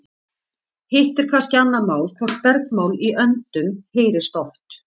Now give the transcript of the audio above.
hitt er kannski annað mál hvort bergmál í öndum heyrist oft